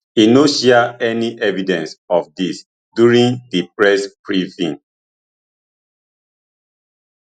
e no share any evidence of dis during di press briefing